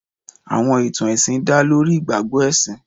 Àwọn ìtàn ẹ̀sìn dá lórí ìgbàgbọ́ ẹ̀sìn.